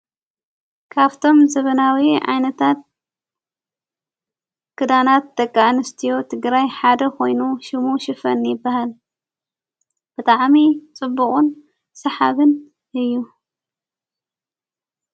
ካፍቶም ዘበናዊ ኣይነታት ክዳናት ደቂኣንስትዮ ትግራይ ሓደ ኾይኑ ሹሙ ሽፈን ይበሃል ብጣዓሚ ጽቡቕን ሰሓብን እዩ።